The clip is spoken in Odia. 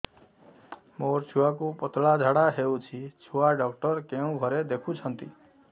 ମୋର ଛୁଆକୁ ପତଳା ଝାଡ଼ା ହେଉଛି ଛୁଆ ଡକ୍ଟର କେଉଁ ଘରେ ଦେଖୁଛନ୍ତି